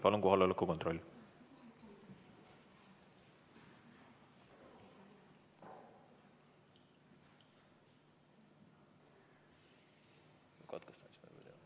Palun kohaloleku kontroll!